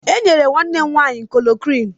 E nyere nwanne m nwaanyị klorokwinụ.